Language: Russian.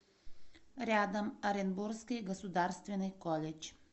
рядом оренбургский государственный колледж